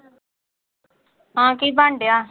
ਹਾਂ ਕੀ ਬਣ ਡਿਆ